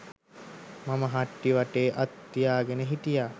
මම හට්ටිය වටේ අත් තියාගෙන හිටියා.